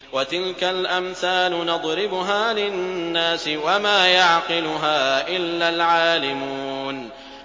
وَتِلْكَ الْأَمْثَالُ نَضْرِبُهَا لِلنَّاسِ ۖ وَمَا يَعْقِلُهَا إِلَّا الْعَالِمُونَ